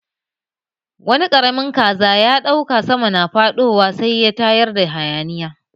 Wani ƙaramin kaza ya ɗauka sama na faɗowa sai ya tayar da hayaniya.